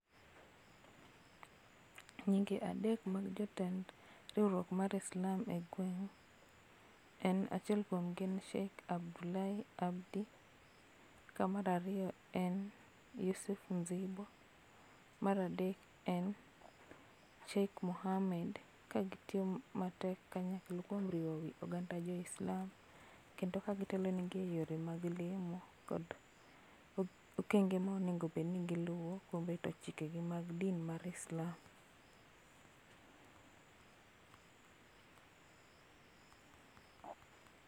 Nyinge adek mag jotend riwruok mar Islam e gweng en achiel kuom gi en Sheikh Abdulai Abdi, ka mar ariyo en Yufuf Mzibo, mar adek en Sheikh Mohamed ka gitiyo matek mondo kanyakla kuom riwo wii oganda jo Islam kendo ka gitelo negi e yore mag lemo kod okenge ma onego obed ni giluo kuom keto chike gi mag din ma Islam